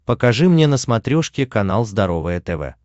покажи мне на смотрешке канал здоровое тв